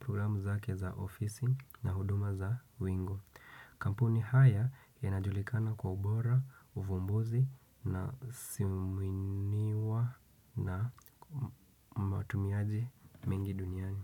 programu zake za ofisi na huduma za window kampuni haya yanajulikana kwa. Matumiaji mingi duniani.